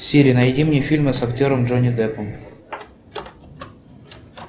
сири найди мне фильмы с актером джонни деппом